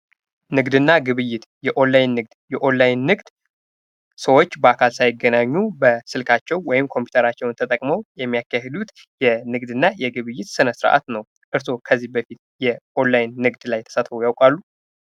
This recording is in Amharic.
ንግድና ግብይይት፤ የኦንላይን ንግድ፦ የኦንላይን ንግድ ሰወች በአካል ሳይገናኙ በስልካቸው ወይም ኮምፒተራቸውን ተጠቅመው የሚያካሂዱት የንግድና ግብይይት ስነስርዓት ነው። እርሶ ከዚህ በፊት የኦንላይን ንግድ ላይ ታሳትፈው ያውቃሉ?